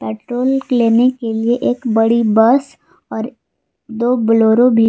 petrol लेने के लिए एक बड़ी बस और दो बोलेरो भी--